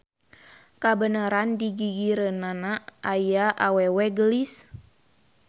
Kabeneran digigireunana aya awewe geulis.